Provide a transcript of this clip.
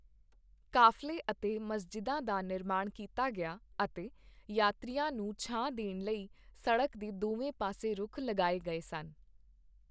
ਕਾਫ਼ਲੇ ਅਤੇ ਮਸਜਿਦਾਂ ਦਾ ਨਿਰਮਾਣ ਕੀਤਾ ਗਿਆ ਅਤੇ ਯਾਤਰੀਆਂ ਨੂੰ ਛਾਂ ਦੇਣ ਲਈ ਸੜਕ ਦੇ ਦੋਵੇਂ ਪਾਸੇ ਰੁੱਖ ਲਗਾਏ ਗਏ ਸਨ।